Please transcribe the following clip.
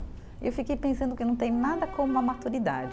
E fiquei pensando que não tem nada como a maturidade.